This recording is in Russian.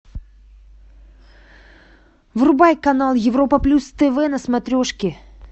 врубай канал европа плюс тв на смотрешке